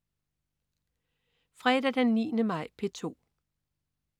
Fredag den 9. maj - P2: